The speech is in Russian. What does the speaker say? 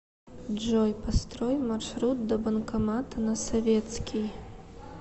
джой построй маршрут до банкомата на советский